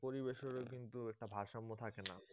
পরিবেশের ও কিন্তু একটা ভারসাম্য থাকে না